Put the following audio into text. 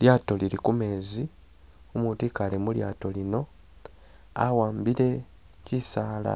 Lyato lili kumezi, umutu ikale mulyato lino awambile kyisaala